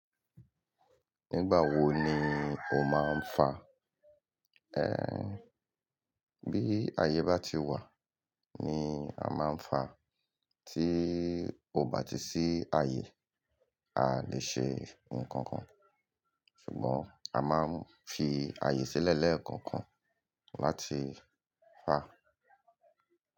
Nígbà wo ni o máa ń fa? Ehn, bí ayé bá ti wà ni a máa ń fa. Tí o bá ti sí ayé, a lè ṣe ohun kankan. Ṣùgbọ́n a máa ń fi àyè sílẹ̀ lẹ́ẹ̀kọ̀kan láti fa.